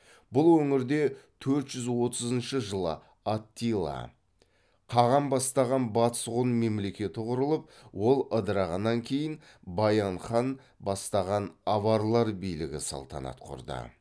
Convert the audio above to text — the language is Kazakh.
бұл өңірде төрт жүз отызыншы жылы аттила қаған бастаған батыс ғұн мемлекеті құрылып ол ыдырағаннан кейін баян хан бастаған аварлар билігі салтанат құрды